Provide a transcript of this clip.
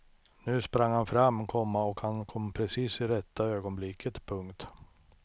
Nu sprang han fram, komma och han kom precis i rätta ögonblicket. punkt